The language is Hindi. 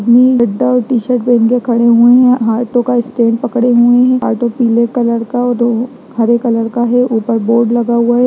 ये बुड्ढा एक टी-शर्ट पहन के खड़े हुए हैं ऑटो का स्टैंड पकड़े हुए हैं ऑटो पीले कलर का और दो हरे कलर का है ऊपर बोर्ड लगा हुआ है।